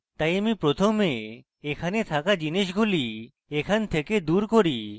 তাই আমি প্রথমে এখানে থাকা জিনিসগুলি এখান থেকে দুর করি